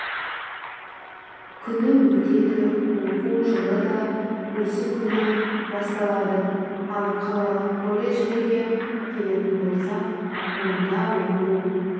күні өтеді оқу жылы да осы күні басталады ал қалалық колледждерге келетін болсақ онда оқу